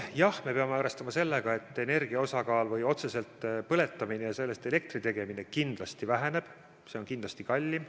Jah, me peame arvestama sellega, et energia osakaal või otseselt põletamine ja sellest elektri tegemine kindlasti väheneb, see on kindlasti kallim.